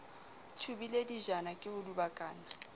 thubile dijana ke ho dubakana